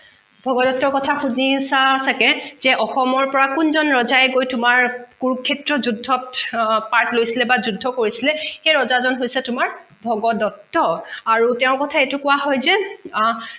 ভগদট্তৰ কথা হুনিচা চাগে সেই অসমৰ পৰা কোনজন ৰজাই গৈ তোমাৰ কুৰুক্ষেত্ৰৰ যুদ্ধত part লৈছিলে বা যুদ্ধ কৰিছিলে সেই ৰজা জন হৈছে তোমাৰ ভগদট্ত আৰু তেঁওৰ কথা এইটো কোৱা হয় যে আহ